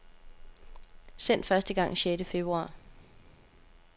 Sendt første gang sjette februar.